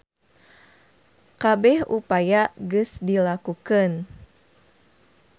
Kabeh upaya geus dilakukeun.